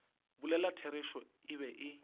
bolela therešo e be e